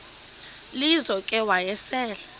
lizo ke wayesel